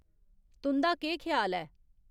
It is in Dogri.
तुं'दा केह् ख्याल ऐ